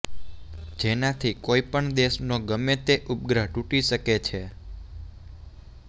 જેનાથી કોઈપણ દેશનો ગમે તે ઉપગ્રહ તૂટી શકે છે